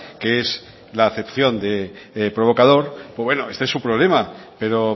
que es la acepción de provocador bueno este es su problema pero